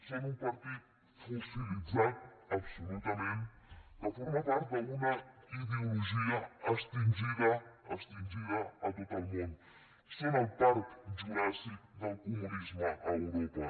són un partit fossilitzat absolutament que forma part d’una ideologia extingida extingida a tot el món són el parc juràssic del comunisme a europa